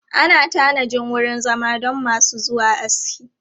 Ana tanajin wurin zama don masu zuwa aski.